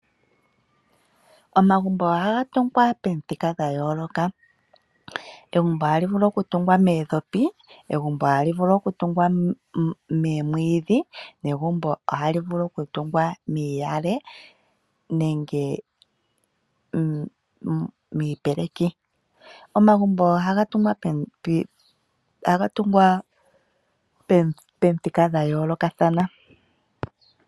Omagumbo ohaga tungwa pamithika dha yooloka. Egumbo ohali vulu okutungwa moondhopi, egumbo ohali vulu okutungwa moomwiidhi negumbo ohali vulu okutungwa miiyale nenge miipeleki. Omagumbo ohaga tungwa pamithika dha yoolokathana.